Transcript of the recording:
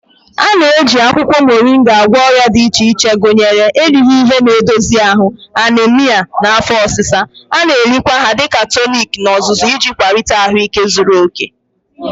A na-eji akwụkwọ Moringa agwọ ọrịa dị iche iche gụnyere erighị ihe na-edozi ahụ, anaemia, na afọ ọsịsa. A na-erikwa ha dị ka tonic n'ozuzu iji kwalite ahụike zuru oke.